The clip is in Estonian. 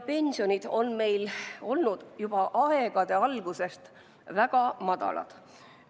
Pensionid on meil olnud juba aegade algusest väga madalad.